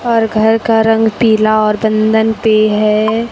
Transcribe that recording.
और घर का रंग पीला और बंधन पे है।